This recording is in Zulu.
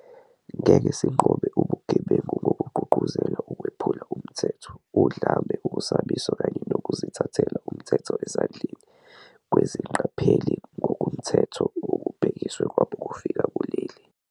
Ngeke sinqobe ubugebengu ngokugqugquzela ukwephula umthetho, udlame, ukusabisa kanye nokuzithathela umthetho ezandleni kwezingqapheli ngokungemthetho okubhekiswe kwabokufika kuleli.